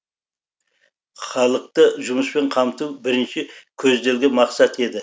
халықты жұмыспен қамту бірінші көзделген мақсат еді